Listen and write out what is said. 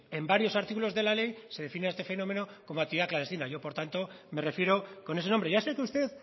en varios artículos de la ley se define este fenómeno como actividad clandestina yo por tanto me refiero con ese nombre ya sé que usted